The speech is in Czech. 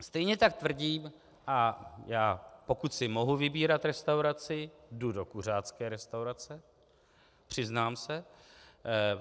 Stejně tak tvrdí - a pokud si mohu vybírat restauraci, jdu do kuřácké restaurace, přiznám se.